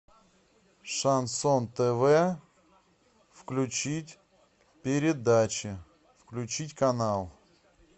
шансон тв включить передачи включить канал